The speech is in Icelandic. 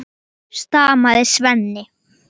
Þessa hópar eru